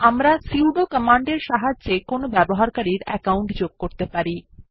আমরা সুদো কমান্ডের সাহায্যে কোনো ব্যবহারকারীর অ্যাকাউন্ট যোগ করতে পারি